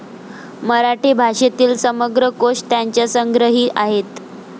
मराठी भाषेतील समग्र कोष त्यांच्या संग्रही आहेत.